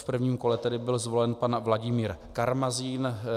V prvním kole tedy byl zvolen pan Vladimír Karmazín.